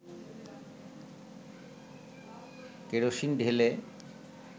kerosene ঢেলে